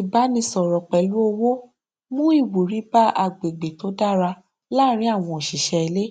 ìbánisọrọ pẹlú ọwọ mú ìwúrí bá agbègbè tó dára láàrin àwọn òṣìṣẹ ilé